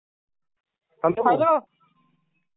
& hello ping